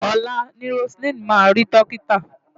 Ọ̀la ni Roseline máa rí dọ́kítà.